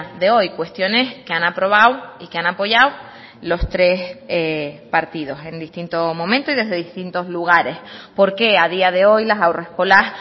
de hoy cuestiones que han aprobado y que han apoyado los tres partidos en distinto momento y desde distintos lugares por qué a día de hoy las haurreskolas